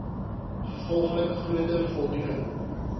gevolglik groter voldoening